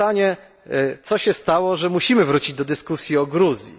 Pytanie, co się stało, że musimy wrócić do dyskusji o Gruzji?